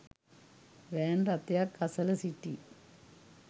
van රථයක් අසල සිටි